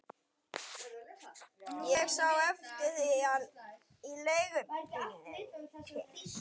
Ég sá eftir því í leigubílnum til